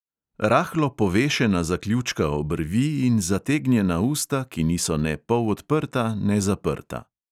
Rahlo povešena zaključka obrvi in zategnjena usta, ki niso ne polodprta ne zaprta.